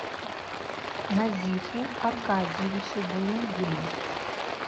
назифу аркадьевичу булыгину